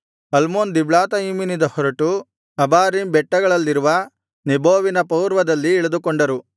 Almon ದಿಬ್ಲಾತಯಿಮಿನಿಂದ ಹೊರಟು Abarim ಬೆಟ್ಟಗಳಲ್ಲಿರುವ ನೇಬೋವಿನ ಪೂರ್ವದಲ್ಲಿ ಇಳಿದುಕೊಂಡರು